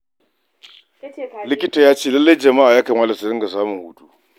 Likita ya ce lallai ya kamata jama'a su dinga samun hutu.